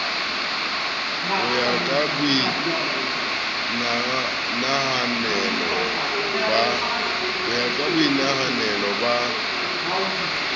ho ya ka boinahanelo ba